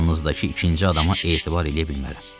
Yanınızdakı ikinci adama etibar eləyə bilmərəm.